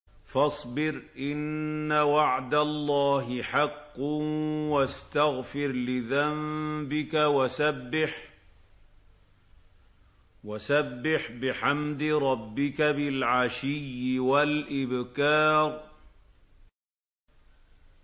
فَاصْبِرْ إِنَّ وَعْدَ اللَّهِ حَقٌّ وَاسْتَغْفِرْ لِذَنبِكَ وَسَبِّحْ بِحَمْدِ رَبِّكَ بِالْعَشِيِّ وَالْإِبْكَارِ